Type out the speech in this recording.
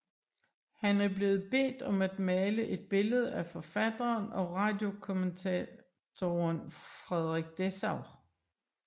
Han er blevet bedt om at male et billede af forfatteren og radiokommentatoren Frederik Dessau